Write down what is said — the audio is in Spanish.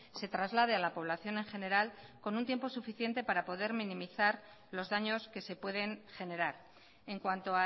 se traslade a la población en general con un tiempo suficiente para poder minimizar los daños que se pueden generar en cuanto